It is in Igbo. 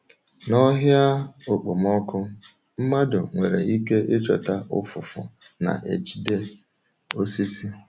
N’ọhịa okpomọkụ, mmadụ nwere ike ịchọta ụfụfụ na-ejide osisi.